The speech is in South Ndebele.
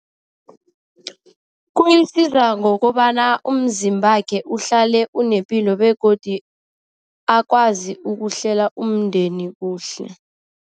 Kuyisiza ngokobana umzimbakhe uhlale unepilo begodi akwazi ukuhlela umndeni kuhle.